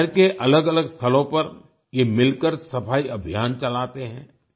शहर के अलगअलग स्थलों पर ये मिलकर सफाई अभियान चलाते हैं